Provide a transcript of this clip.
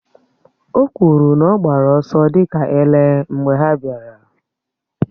O kwụrụ na ọ gbara ọsọ dị ka ele mgbe ha bịara.